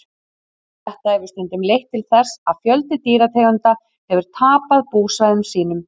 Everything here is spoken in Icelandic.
þetta hefur stundum leitt til þess að fjöldi dýrategunda hefur tapað búsvæðum sínum